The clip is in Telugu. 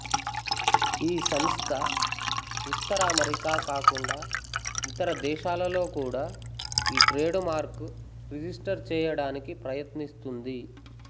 ఈ సంస్థ ఉత్తర అమెరికా కాకుండా ఇతర దేశాలలో కూడా ఈ ట్రేడుమార్కు రిజిస్టరు చేయడానికి ప్రయత్నిస్తుంది